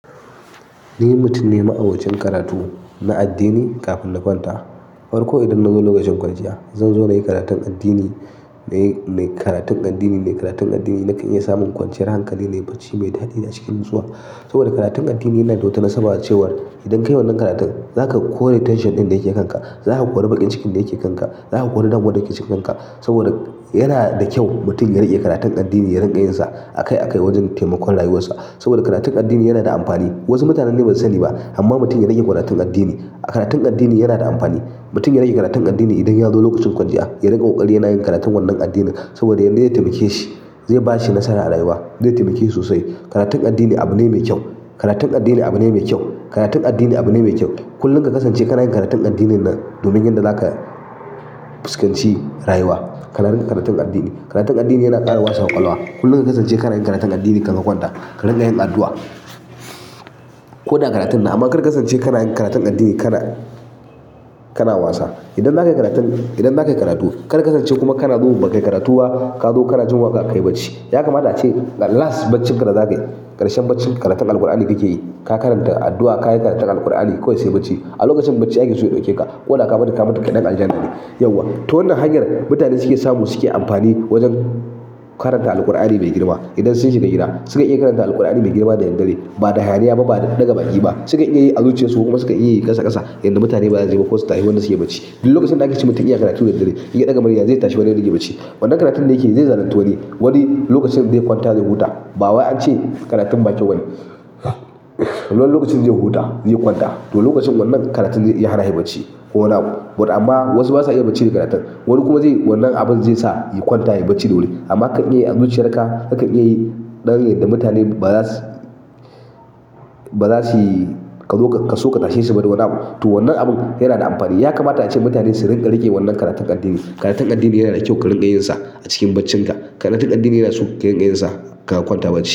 Ni mutum ne ma'abocin karatu na addini kafin na kwanta. Farko idan na zo lokacin kwanciya, zan zo na yi karatun addini, na yi, na yi karatun addini, na yi karatun addini, nakan iya samun kwanciyar hankali, nayi bacci mai daɗi a cikin nutsuwa. Saboda karatun addini yana da wata, nasaba cewar idan ka yi wannan karatun zaka kore tension ɗin da yake kanka, zaka kori baƙin cikin da yake kanka, zaka kori damwar da ke cikinka. Saboda yana da kyau mutum ya riƙe karatun addini ya riƙa yin sa a kai a kai wajen taimakon rayuwarsa. Saboda karatun addini yana da amfani. Wasu mutanen dai basu sani ba amma mutum ya riƙe karatun addini. Karatun addini yana da amfani. Mutum ya riƙe karatun addini idan ya zo lokacin kwanciya, ya riƙa ƙoƙari yana yin karatun wannan addinin saboda yadda yadda zai taimake shi, zai ba shi nasara a rayuwa. Zai taimake shi sosai. Karatun addini abu ne mai kyau. Karatun addini abu ne mai kyau. Karatun addini abu ne mai kyau. Kullum ka kasance kana yin karatun addinin nan domin yarda zaka fuskanci rayuwa. Ka riƙa karatun addini. Karatun nan dai yana daɗa wasa ƙwaƙwalwa. Kullum ka kasance kana yin karatun addini kan ka kwanta. Ka riƙa yin addu'a. Ko da karatun na amma kar ka kasance kana yin karatun addini kana, kana wasa. Idan zaka yi karatun, idan zaka yi karatu kar ka kasance kuma kana zuwa ba ka yi karatu ba ka zo kana jin waƙa ka yi bacci. Ya kamata ce last baccin ka da zaka yi ƙarshen baccin karatun Alqur'ani da kake yi, ka karanta addu'a, ka yi karatun Alqur'ani, kawai sai bacci. A lokacin bacci ake so su ɗauke ka ko da ka mutu kaɗai an ja ni. Yauwa. To wannan hanyar mutane suke samu suke amfani wajen karanta Alqur'ani mai girma. Idan sun shiga gida suka iya karanta Alqur'ani mai girma da daddare ba da hayaniya ba, ba daga baki ba. Suka iya yi azuciyarsu kuma suka iya yi ƙasa ƙasa yadda mutane ba za su ji ba ko su tashi wannan suka yi bacci. Duk lokacin da aka ci mutum yana karatu daddare, yake ɗaga murya zai tashi wanda yake bacci. Wannan karatun da yake yi zai zalunci wani. Wani lokacin zai kwanta zai huta. Bawai ance karatun ba kyau bane wani lokacin zai huta, zai kwanta. To lokacin wannan karatun zai iya hana shi bacci ko wani abu. But amma wasu basa iya bacci da karatun. Wani kuma zai, wannan abun zai sa ya kwanta, ya yi bacci da wuri. Amma kakan iyayi azuciyarka kakan iya yi ɗan yadda mutane ba za su, ba za su ka zo ka so ka tashe su ba don nan. To wannan abun yana da amfani. Ya kamata ace mutane su rinƙa riƙe wannan karatun addini. Karatun addini yana da kyau ka riƙa yin sa a cikin bacinka. Karatun addini yana so ka rinƙa yin sa kafin ka kwanta bacci.